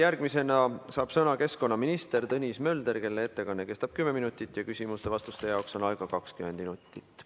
Järgmisena saab sõna keskkonnaminister Tõnis Mölder, kelle ettekanne kestab kümme minutit ja küsimuste-vastuste jaoks on aega 20 minutit.